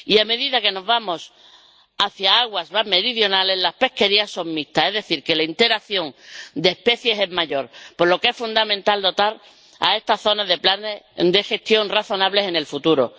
Y, a medida que nos vamos hacia aguas más meridionales, las pesquerías son mixtas, es decir, que la interacción de especies es mayor, por lo que es fundamental dotar a estas zonas de planes de gestión razonables en el futuro.